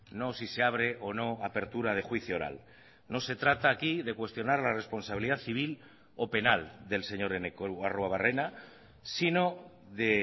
no si se abre o no apertura de juicio oral no se trata aquí de cuestionar la responsabilidad civil o penal del señor eneko arruebarrena sino de